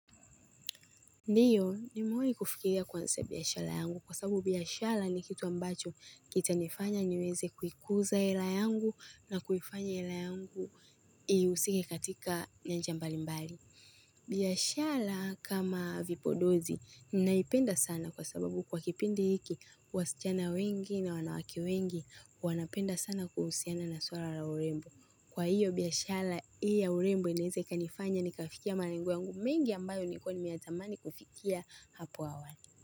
Ndio nimewahi kufikiria kuanza biashara yangu, kwa sababu biashara ni kitu ambacho kitanifanya niweze kuikuza area yangu na kuifanya area yangu ihusike katika nyanja mbalimbali. Biashara kama vipondozi ninaipenda sana kwa sababu kwa kipindi hiki wasichana wengi na wanawake wengi wanapenda sana kuhusiana na suala la urembo. Kwa hiyo biashara hii ya urembo inaeza ikanifanya nikafikia malengo yangu mingi ambayo nilikuwa nimeyatamani kufikia hapo awali.